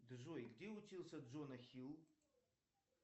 джой где учился джона хилл